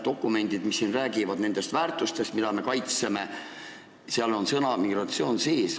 Dokumentides, mis räägivad nendest väärtustest, mida me kaitseme, on sõna "migratsioon" sees.